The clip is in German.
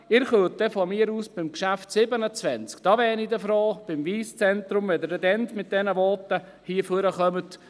Von mir aus können Sie beim Traktandum 27, beim Wyss Center Bern, mit solchen Voten hier ans Mikrofon treten, da wäre ich froh.